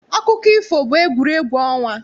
Akụkọ ifo bụ egwuregwu ọnwa.